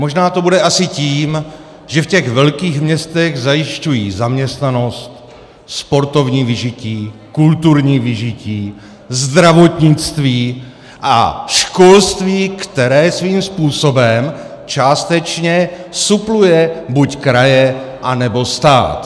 Možná to bude asi tím, že v těch velkých městech zajišťují zaměstnanost, sportovní vyžití, kulturní vyžití, zdravotnictví a školství, které svým způsobem částečně supluje buď kraje, anebo stát.